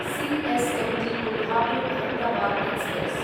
C S M T Kolhapur Ahmedabad express